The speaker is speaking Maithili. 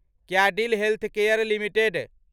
Cadila healthcare limited